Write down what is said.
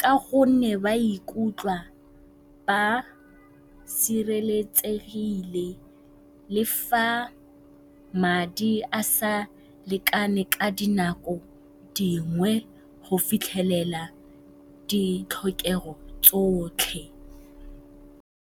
ka gonne ba ikutlwa ba sireletsegile le fa madi a sa lekane ka dinako dingwe go fitlhelela ditlhokego tsotlhe.